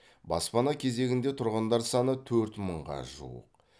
баспана кезегінде тұрғандар саны төрт мыңға жуық